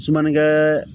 Sumanikɛ